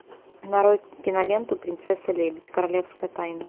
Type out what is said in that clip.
нарой киноленту принцесса лебедь королевская тайна